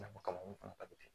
Nafa kama u fana ka